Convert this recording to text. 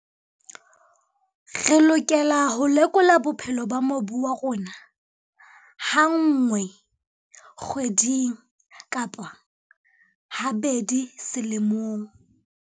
Re lokela ho lekola bophelo ba mobu wa rona ha nngwe kgweding kapa ha bedi selemong.